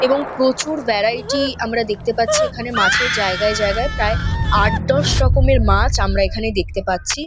এবং প্রচুর ভ্যারাইটি আমরা দেখতে পাচ্ছি এখানে মাছের জায়গায় জায়গায় প্রায় আট দশ রকমের মাছ আমরা এখানে দেখতে পাচ্ছি।